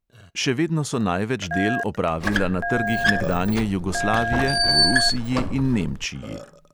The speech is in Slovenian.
Še vedno so največ del opravila na trgih nekdanje jugoslavije, v rusiji in nemčiji.